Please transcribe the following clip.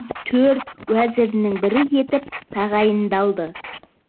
төрт уәзірінің бірі етіп тағайындалды